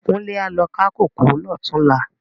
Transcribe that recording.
Kunle á lo ká kókòó lòtúnlá